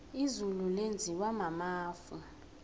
izulu lenziwa mafu